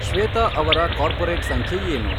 ಶ್ವೇತಾ ಅವರ ಕಾರ್ಪೊರೇಟ್ ಸಂಖ್ಯೆ ಏನು